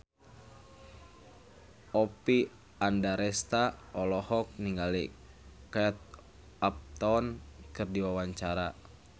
Oppie Andaresta olohok ningali Kate Upton keur diwawancara